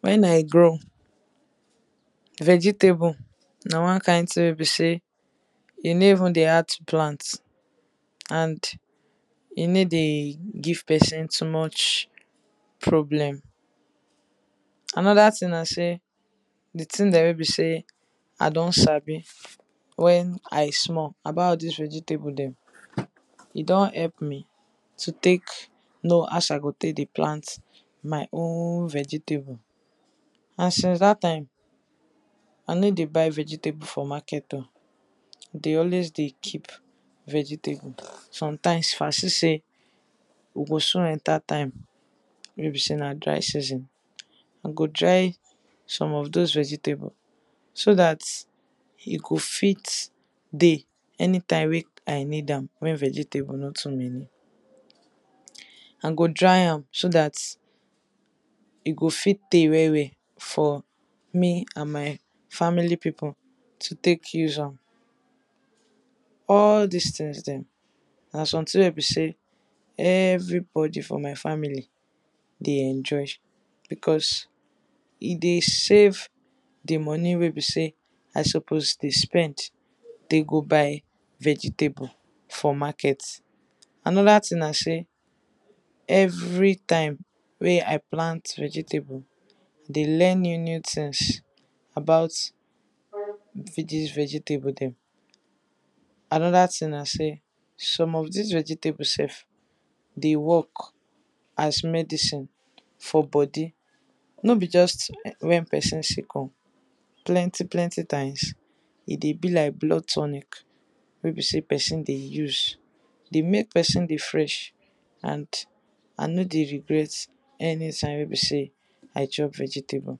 When I grow, vegetable na one kind thing wey be sey, e nor even dey hard to plant and e no dey give person too much problem. Another thing na sey, di thing dem wey be sey I don sabi wen I small, about all dis vegetable dem, e don help me to take know as I go take dey plant my own vegetable and since dat time I nor dey buy vegetable for Market oh, I dey always dey keep vegetable and sometimes if I see sey we go soon enter time wey be sey na dry season, I go dry some of doz vegetable, so dat e go fit dey anytime wey I need am, wen vegetable no too many, I go dry am so dat e go fit tey well well for me and my family people to take use am. All dis thing dem, na something wey be sey everybody for my family dey enjoy, because e dey save di money wey be sey I suppose dey spend go take dey buy vegetable for market. Another thing na sey, every time wey I plant vegetable, I dey learn new new things about dis vegetable dem, another thing na sey, some of all dis vegetable sef, dey work as medicine for body, nor be just wen person sick oh, plenty plenty times e dey be like blood tonic wey be sey person dey, I dey make person dey fresh and I nor dey regret anytime wey be sey I chop vegetable.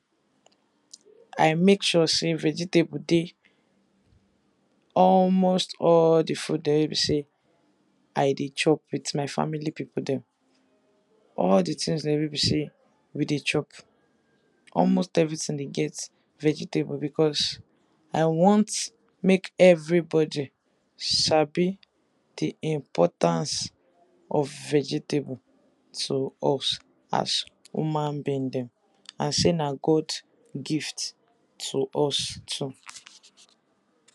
I make sure sey vegetable dey almost all di food dem wey be sey I dey chop with my family people dem. All di things dem wey be sey we dey chop, almost everything dey get vegetable because I want make everybody sabi di importance of vegetable to us as human being dem, and sey na God gift to us too.